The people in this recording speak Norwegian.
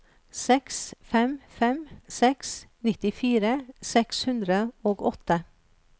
seks fem fem seks nittifire seks hundre og åtte